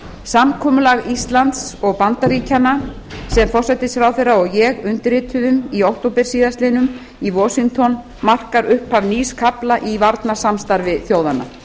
samkomulag íslands og bandaríkjanna sem ég og forsætisráðherra undirrituðum í október síðastliðnum í washington markar upphaf nýs kafla í varnarsamstarfi þjóðanna